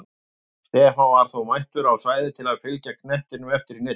Stefán var þó mættur á svæðið til að fylgja knettinum eftir í netið!